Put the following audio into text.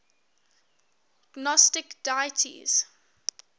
gnostic deities